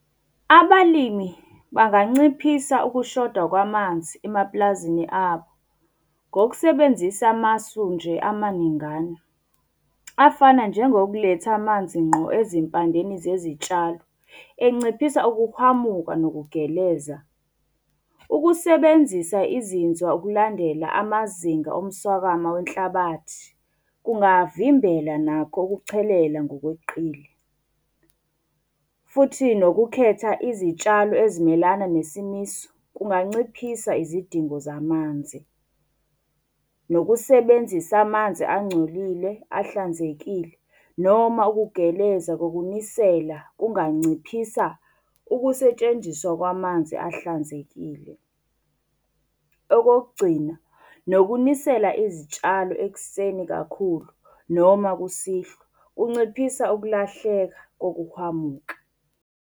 Abalimi banganciphisa ukushoda kwamanzi emapulazini abo, ngokusebenzisa amasu nje amaningana. Afana njengokuletha amanzi ngqo ezimpandeni zezitshalo, enciphisa ukuhwamuka nokugeleza. Ukusebenzisa izinzwa ukulandela amazinga omswakama wenhlabathi kungavimbela nakho ukuchelela ngokweqile. Futhi nokukhetha izitshalo ezimelana nesomiso kunganciphisa izidingo zamanzi. Nokusebenzisa amanzi angcolile, ahlanzekile, noma ukugeleza kokunisela kunganciphisa ukusetshenziswa kwamanzi ahlanzekile. Okokugcina, nokunisela izitshalo ekuseni kakhulu, noma kusihlwa, kunciphisa ukulahleka kokuhwamuka.